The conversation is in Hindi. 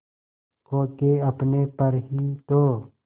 खो के अपने पर ही तो